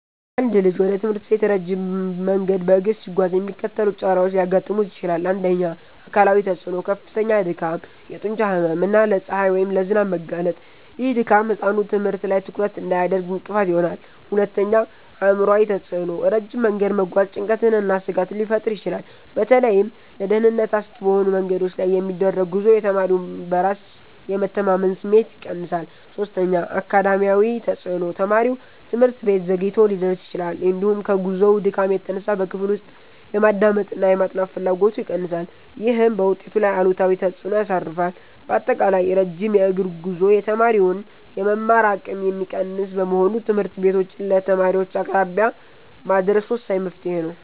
አንድ ልጅ ወደ ትምህርት ቤት ረጅም መንገድ በእግር ሲጓዝ የሚከተሉት ጫናዎች ሊያጋጥሙት ይችላል፦ 1. አካላዊ ተፅዕኖ፦ ከፍተኛ ድካም፣ የጡንቻ ህመም እና ለፀሐይ ወይም ለዝናብ መጋለጥ። ይህ ድካም ህጻኑ ትምህርት ላይ ትኩረት እንዳያደርግ እንቅፋት ይሆናል። 2. አእምሯዊ ተፅዕኖ፦ ረጅም መንገድ መጓዝ ጭንቀትንና ስጋትን ሊፈጥር ይችላል። በተለይም ለደህንነት አስጊ በሆኑ መንገዶች ላይ የሚደረግ ጉዞ የተማሪውን በራስ የመተማመን ስሜት ይቀንሳል። 3. አካዳሚያዊ ተፅዕኖ፦ ተማሪው ትምህርት ቤት ዘግይቶ ሊደርስ ይችላል፤ እንዲሁም ከጉዞው ድካም የተነሳ በክፍል ውስጥ የማዳመጥና የማጥናት ፍላጎቱ ይቀንሳል። ይህም በውጤቱ ላይ አሉታዊ ተፅዕኖ ያሳርፋል። ባጠቃላይ፣ ረጅም የእግር ጉዞ የተማሪውን የመማር አቅም የሚቀንስ በመሆኑ ትምህርት ቤቶችን ለተማሪዎች አቅራቢያ ማድረስ ወሳኝ መፍትሔ ነው።